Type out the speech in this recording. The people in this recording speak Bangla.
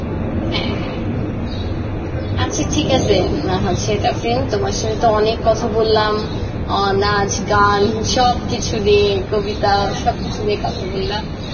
হ্যাঁ হ্যাঁ আচ্ছা ঠিক আসে উম হচ্ছে তাফরিন তোমার সঙ্গে তো অনেক কথা বললাম আহ নাচ গান সব কিছু দিয়ে কবিতা সব কিছু নিয়ে কথা বললাম,